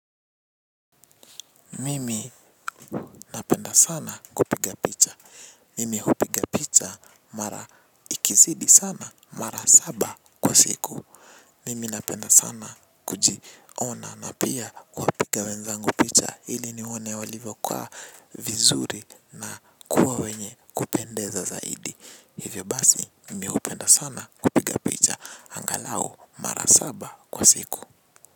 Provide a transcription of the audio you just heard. Mimi napenda sana kupiga picha, mimi hupiga picha mara ikizidi sana mara saba kwa siku. Mimi na penda sana kujiona na pia kuwapiga wenzangu picha ili niwone walivyo kaa vizuri na kuwa wenye kupendeza zaidi hivyo basi mimi hupenda sana kupiga picha. Angalao mara saba kwa siku.